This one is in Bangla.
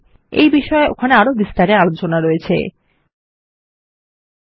আমরা এগুলিকে ওখানে বিস্তারে আলোচনা করতে পারি